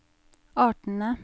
artene